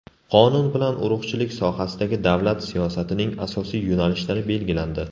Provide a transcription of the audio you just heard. Qonun bilan urug‘chilik sohasidagi davlat siyosatining asosiy yo‘nalishlari belgilandi.